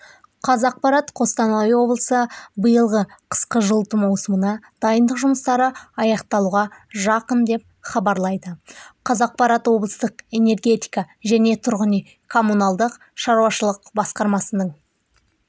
қазақпарат қостанай облысы биылғы қысқы жылыту маусымына дайындық жұмыстары аяқталуға жақын деп хабарлайды қазақпарат облыстық энергетика және тұрғын үй-коммуналдық шаруашылық басқармасының